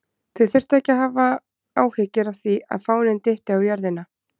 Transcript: Þeir þurftu þó ekki að hafa áhyggjur af því að fáninn dytti á jörðina!